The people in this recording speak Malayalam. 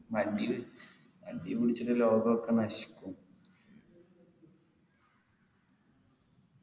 മടി മടി പിടിച്ചിട്ട് ലോകൊക്കെ നശിക്കു